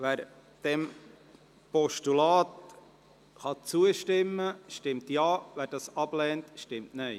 Wer dem Postulat zustimmen kann, stimmt Ja, wer dieses ablehnt, stimmt Nein.